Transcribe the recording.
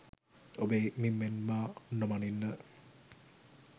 ඔබේ මිම්මෙන් මා නොමනින්න